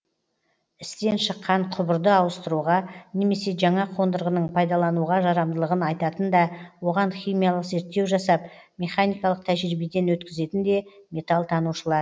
істен шыққан құбырды ауыстыруға немесе жаңа қондырғының пайдалануға жарамдылығын айтатын да оған химиялық зерттеу жасап механикалық тәжірибеден өткізетін де металл танушылар